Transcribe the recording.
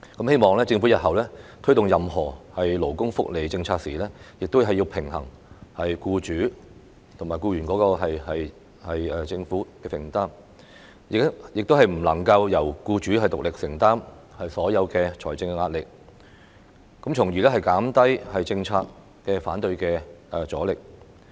希望政府日後推動任何勞工福利政策時，亦要平衡僱主、僱員及政府的承擔，亦不能夠由僱主獨力承擔所有的財政壓力，從而減低反對政策的阻力。